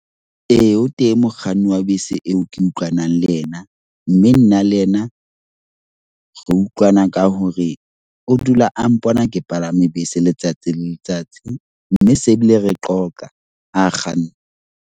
Ee, o teng mokganni wa bese eo ke utlwanang le yena. Mme nna le yena re utlwana ka hore o dula a mpona ke palame bese letsatsi le letsatsi. Mme se bile re qoqa ha kganna.